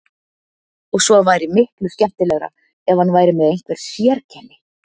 Og svo væri miklu skemmtilegra ef hann væri með einhver sérkenni.